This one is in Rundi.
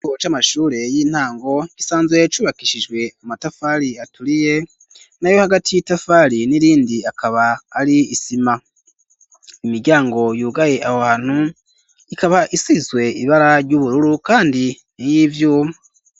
Ikigo c'amashure y'intango gisanzwe cubakishijwe amatafari aturiye nayo hagati y'itafari n'irindi akaba ari isima imiryango yugaye ahantu ikaba isizwe ibara ry'ubururu kandi ni y'ivyuma.